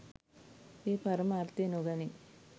එය පරම අර්ථය නොගනී.